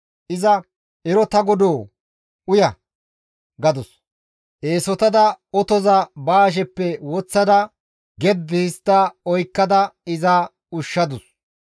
Iza, «Ero ta godoo! Uya» gadus. Eesotada otoza ba hasheppe woththada geddi histta oykkada iza ushshadus.